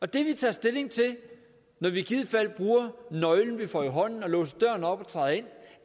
det vi tager stilling til når vi i givet fald bruger nøglen vi får i hånden og låser døren op og træder